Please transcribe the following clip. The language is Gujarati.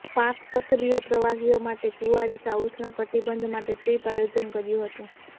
પાર્ક સક્રિય પ્રવાસીઓ માટે કુમારિકા ઉષ્ણ કટિબંધ માટે ટ્રીપ આયોજન કર્યું હતું